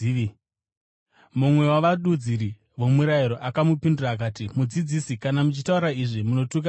Mumwe wavadudziri vomurayiro akamupindura akati, “Mudzidzisi, kana muchitaura izvi, munotuka nesuwo.”